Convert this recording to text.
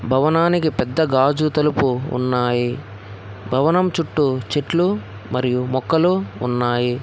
భవనానికి పెద్ద గాజు తలుపు ఉన్నాయి భవనం చుట్టూ చెట్లు మరియు మొక్కలు ఉన్నాయి.